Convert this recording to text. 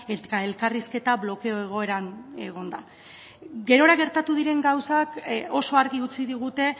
eta elkarrizketa blokeo egoeran egonda gerora gertatu diren gauzak oso argi utzi digute